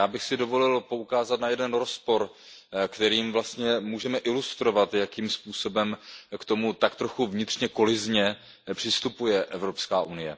A já bych si dovolil poukázat na jeden rozpor, kterým vlastně můžeme ilustrovat, jakým způsobem k tomu tak trochu vnitřně kolizně přistupuje EU.